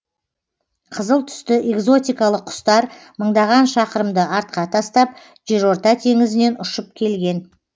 қызыл түсті экзотикалық құстар мыңдаған шақырымды артқа тастап жерорта теңізінен ұшып келген